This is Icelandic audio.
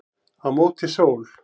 Á móti sól